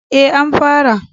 E, an fara.